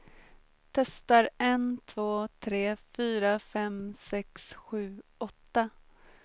Testar en två tre fyra fem sex sju åtta.